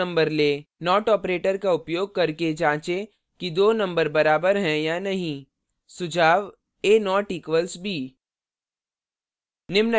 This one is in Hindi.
not operator का उपयोग करके जाँचें कि दो numbers बराबर हैं या नहीं